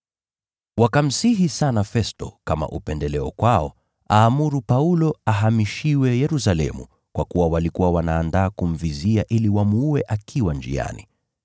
Wakamsihi sana Festo, kama upendeleo kwao, aamuru Paulo ahamishiwe Yerusalemu, kwa kuwa walikuwa wanaandaa kumvizia ili wamuue akiwa njiani.